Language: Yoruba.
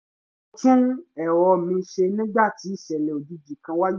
mo tún èrò mi ṣe nígbàtí ìṣẹ̀lẹ̀ òjijì kan wáyé